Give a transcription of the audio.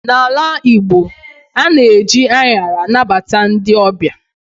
N'ala Igbo, ana eji anyara anabata ndị ọbịa